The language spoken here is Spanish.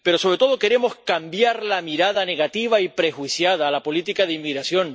Pero, sobre todo, queremos cambiar la mirada negativa y prejuiciada a la política de inmigración.